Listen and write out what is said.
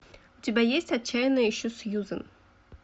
у тебя есть отчаянно ищу сьюзан